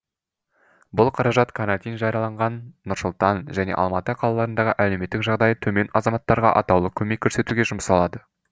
бұл қаражат карантин жарияланған нұр сұлтан және алматы қалаларындағы әлеуметтік жағдайы төмен азаматтарға атаулы көмек көрсетуге жұмсалады